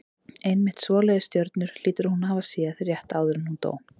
Einmitt svoleiðis stjörnur hlýtur hún að hafa séð rétt áður en hún dó.